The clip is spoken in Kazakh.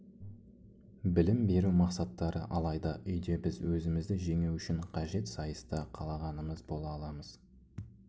білім беру мақсаттары алайда үйде біз өзімізді жеңу үшін қажет сайыста қалағанымыз бола аламыз